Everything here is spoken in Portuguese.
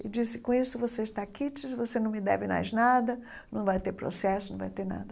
E disse, com isso você está aqui, disse, você não me deve mais nada, não vai ter processo, não vai ter nada.